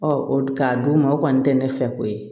k'a d'u ma o kɔni tɛ ne fɛ ko ye